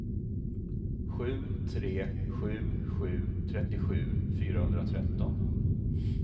sju tre sju sju trettiosju fyrahundratretton